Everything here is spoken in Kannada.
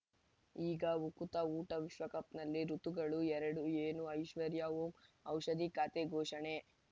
ಈಗ ಉಕುತ ಊಟ ವಿಶ್ವಕಪ್‌ನಲ್ಲಿ ಋತುಗಳು ಎರಡು ಏನು ಐಶ್ವರ್ಯಾ ಓಂ ಔಷಧಿ ಖಾತೆ ಘೋಷಣೆ